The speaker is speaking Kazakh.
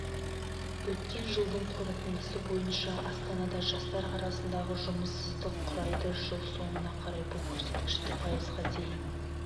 өткен жылдың қорытындысы бойынша астанада жастар арасындағы жұмыссыздық құрайды жыл соңына қарай бұл көрсеткішті пайызға дейін